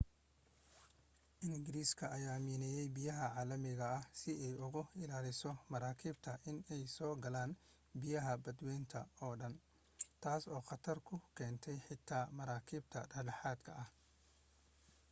ingiriiska ayaa miineeyay biyaha caalamiga ah si ay uga ilaaliso maraakiibtu inay soo galaan biyaha badwaynta oo dhan taas oo khatar ku keentay xitaa maraakiibta dhexdhexaadka ah